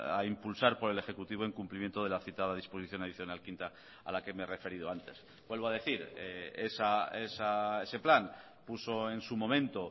a impulsar por el ejecutivo en cumplimiento de la citada disposición adicional quinta a la que me he referido antes vuelvo a decir ese plan puso en su momento